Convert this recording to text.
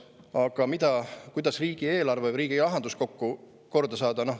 Aga kuidas riigieelarve või riigirahandus korda saada?